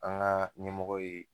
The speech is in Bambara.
An ka ɲɛmɔgɔ ye